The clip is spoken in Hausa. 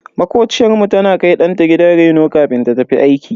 Makociyar mu tana kai danta gidan reno kafin ta tafi aiki.